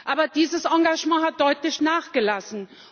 Aber dieses Engagement hat deutlich nachgelassen.